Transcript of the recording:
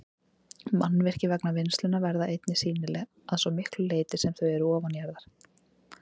Mannvirki vegna vinnslunnar verða einnig sýnileg að svo miklu leyti sem þau eru ofanjarðar.